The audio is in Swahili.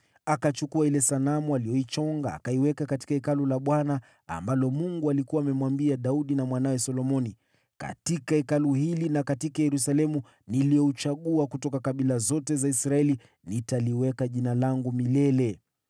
Akachukua ile sanamu aliyoichonga na kuiweka katika Hekalu la Mungu ambalo Mungu alikuwa amemwambia Daudi na mwanawe Solomoni, “Katika Hekalu hili na katika Yerusalemu niliouchagua kutoka kabila zote za Israeli, nitaliweka Jina langu milele.